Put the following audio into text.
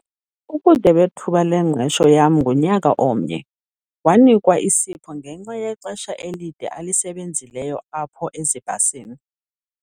Ubude bethuba lengqesho yam ngunyaka omnye. wanikwa isipho ngenxa yexesha elide alisebenzileyo apho ezibhasini